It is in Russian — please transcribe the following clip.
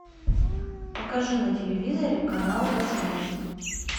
покажи на телевизоре канал восьмой